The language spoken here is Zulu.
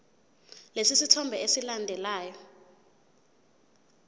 lesi sithombe esilandelayo